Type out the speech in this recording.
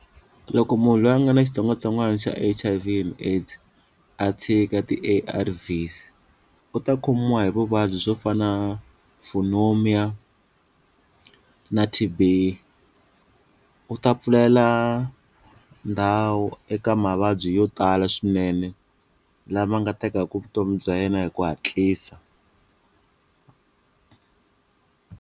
Loko munhu loyi a nga na xitsongwatsongwana xa H_I_V and AIDS a tshika ti-A_R_V's u ta khomiwa hi vuvabyi swo fana na pneumonia na T_B u ta pfulela ndhawu eka mavabyi yo tala swinene lama nga tekaka vutomi bya yena hi ku hatlisa.